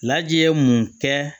Laji ye mun kɛ